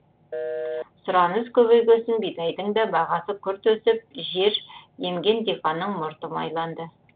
сұраныс көбейгөсін бидайдың да бағасы күрт өсіп жер емген диқанның мұрты майланды